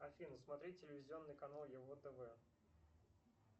афина смотреть телевизионный канал яво тв